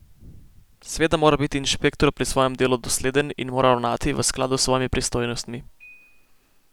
Seveda mora biti inšpektor pri svojem delu dosleden in mora ravnati v skladu s svojimi pristojnostmi.